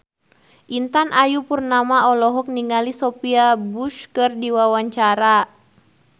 Intan Ayu Purnama olohok ningali Sophia Bush keur diwawancara